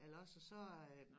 Eller også så øh